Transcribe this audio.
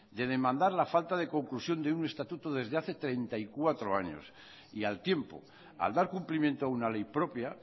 de demandar la falta de conclusión de un estatuto desde hace treinta y cuatro años y al tiempo al dar cumplimiento a una ley propia